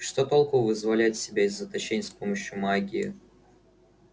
что толку вызволять себя из заточения с помощью магии